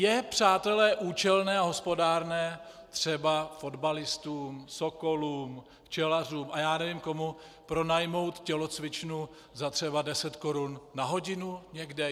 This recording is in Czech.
Je, přátelé, účelné a hospodárné třeba fotbalistům, sokolům, včelařům a já nevím komu pronajmout tělocvičnu třeba za 10 korun na hodinu někde?